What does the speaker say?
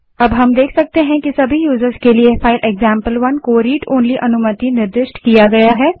यहाँ हम देख सकते हैं कि सभी यूज़र्स के लिए फाइल एक्जाम्पल1 को read ओनली अनुमति निर्दिष्ट की गयी है